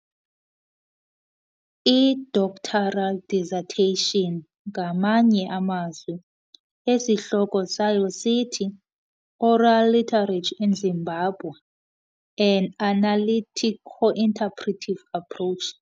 i-doctoral dissertation, ngamanye amazwi, esihloko sayo sithi "Oral Literature in Zimbabwe- An Analytico-Interpretive Approach."